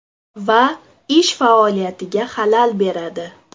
Va ish faoliyatiga xalal beradi.